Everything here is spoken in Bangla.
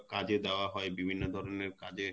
কাজে দেওয়া হয় বিভিন্ন ধরনের কাজে